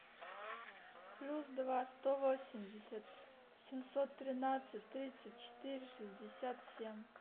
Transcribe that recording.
плюс два сто восемьдесят семьсот тринадцать тридцать четыре шестьдесят семь